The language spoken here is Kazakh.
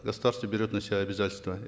государство берет на себя обязательство